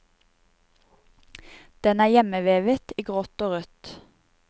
Den er hjemmevevet i grått og rødt.